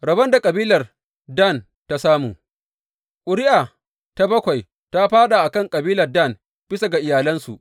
Rabon da kabilar Dan ta samu Ƙuri’a ta bakwai ta fāɗa a kan kabilar Dan, bisa ga iyalansu.